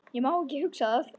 Ég má ekki hugsa það.